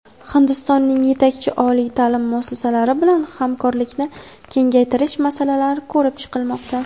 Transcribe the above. Hindistonning yetakchi oliy taʼlim muassasalari bilan hamkorlikni kengaytirish masalalari ko‘rib chiqilmoqda.